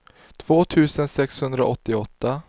två tusen sexhundraåttioåtta